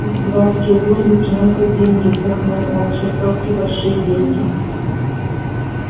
их дурацкие грузы приносят деньги вздохнул он чертовски большие деньги